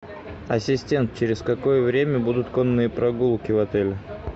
ассистент через какое время будут конные прогулки в отеле